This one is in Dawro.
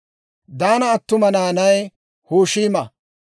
Diinaa attuma na'ay Hushiima.